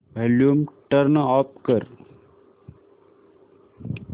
volume turn off कर